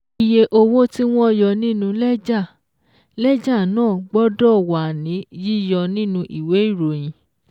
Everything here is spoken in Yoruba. Iye owó tí wọ́n yọ nínú lẹ́jà lẹ́jà náà gbọ́dọ̀ wà ní yíyọ nínú ìwé ìròyìn.